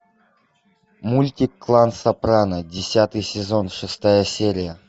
мультик клан сопрано десятый сезон шестая серия